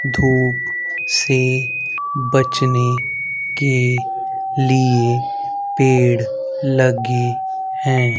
धूप से बचने के लिए पेड़ लगे हैं।